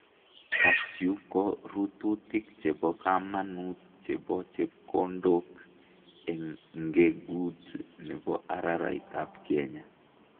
kasyu ko rurutik chebo kamanuut chebo chepkondok eng' ngeguut nebo araraitap Kenya